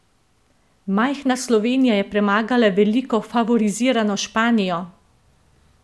Majhna Slovenija je premagala veliko favorizirano Španijo!